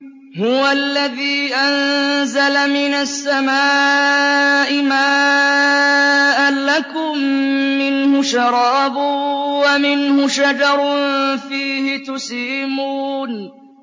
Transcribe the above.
هُوَ الَّذِي أَنزَلَ مِنَ السَّمَاءِ مَاءً ۖ لَّكُم مِّنْهُ شَرَابٌ وَمِنْهُ شَجَرٌ فِيهِ تُسِيمُونَ